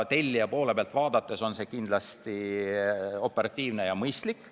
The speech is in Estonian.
Tellija poole pealt vaadates on see kindlasti operatiivne ja mõistlik.